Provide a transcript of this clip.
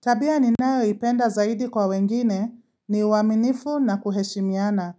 Tabia ninayoipenda zaidi kwa wengine ni uaminifu na kuheshimiana.